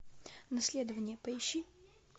наследование поищи